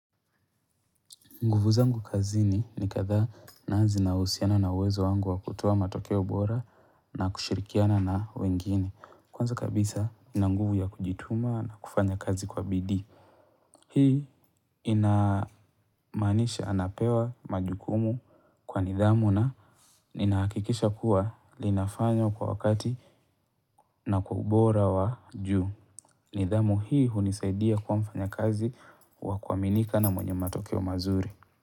Nguvu zangu kazini ni kadhaa na zinahusiana na uwezo wangu wa kutoa matokeo bora na kushirikiana na wengine. Kwanza kabisa na nguvu ya kujituma na kufanya kazi kwa bidii. Hii inamaanisha anapewa majukumu kwa nidhamu na ninaakikisha kuwa linafanywa kwa wakati na kwa ubora wa juu. Nidhamu hii hunisaidia kuwa mfanyakazi wa kuaminika na mwenye matokeo mazuri.